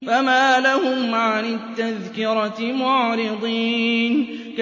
فَمَا لَهُمْ عَنِ التَّذْكِرَةِ مُعْرِضِينَ